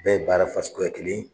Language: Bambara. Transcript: bɛɛ ye baara fasuguya kelen